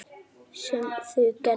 Sem þau gerðu.